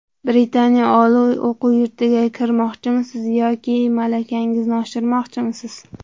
Britaniya oliy o‘quv yurtiga kirmoqchimisiz yoki malakangizni oshirmoqchimisiz?